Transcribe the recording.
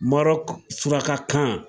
Marɔku surakakan